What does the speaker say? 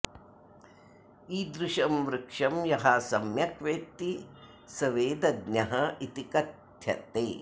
ईदृशं वृक्षं यः सम्यक् वेत्ति सः वेदज्ञः इति कथ्यते